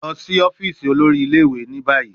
Lọ si ọfiisi olori ile-iwe ni bayi